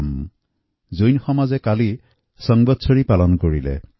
কালি জৈন সমাজৰ সম্বৎসৰি উৎসৱ পালন কৰা হয়